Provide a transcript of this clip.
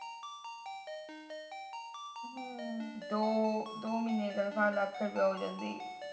ਦੋ ਮਹੀਨੇ ਦੀ ਤਨਖਾਹ ਲੱਖ ਰੁਪੀਆ ਹੋ ਜਾਂਦੀ